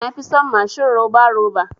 Na fi son mashin roba roba.